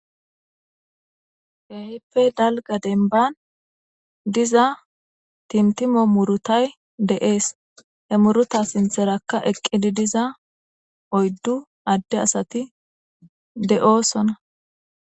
hehippe dalga denban diza tintimo murutay de7ees he muruta sintherakka eqqidi diza oyddu adde asati de7oosona